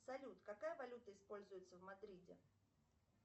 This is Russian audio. салют какая валюта используется в мадриде